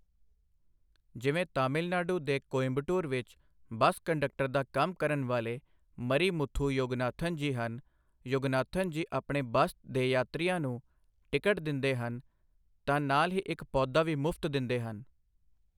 ਜਿਵੇਂ ਤਮਿਲ ਨਾਡੂ ਦੇ ਕੋਇੰਬਟੂਰ ਵਿੱਚ ਬੱਸ ਕੰਡੱਕਟਰ ਦਾ ਕੰਮ ਕਰਨ ਵਾਲੇ ਮਰੀ ਮੁਥੂ ਯੋਗਨਾਥਨ ਜੀ ਹਨ, ਯੋਗਨਾਥਨ ਜੀ ਆਪਣੇ ਬੱਸ ਦੇ ਯਾਤਰੀਆਂ ਨੂੰ ਟਿਕਟ ਦਿੰਦੇ ਹਨ ਤਾਂ ਨਾਲ ਹੀ ਇਕ ਪੌਦਾ ਵੀ ਮੁਫ਼ਤ ਦਿੰਦੇ ਹਨ।